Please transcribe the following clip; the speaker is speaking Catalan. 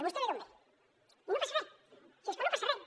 vostè ve d’on ve i no passa res si és que no passa res